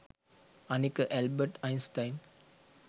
අනික Albert Einstein